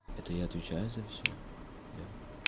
это я отвечаю за всё я